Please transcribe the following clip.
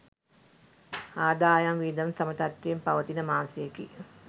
ආදායම් වියදම් සම තත්ත්වයෙන් පවතින මාසයකි.